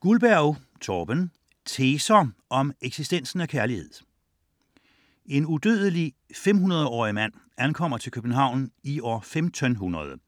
Guldberg, Torben: Teser om eksistensen af kærlighed En udødelig 500-årig mand ankommer til København i år 1500,